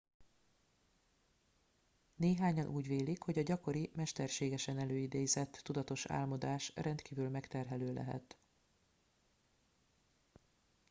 néhányan úgy vélik hogy a gyakori mesterségesen előidézett tudatos álmodás rendkívül megterhelő lehet